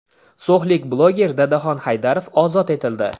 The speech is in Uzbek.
So‘xlik bloger Dadaxon Haydarov ozod etildi.